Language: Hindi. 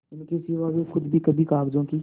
इसके सिवा वे खुद भी कभी कागजों की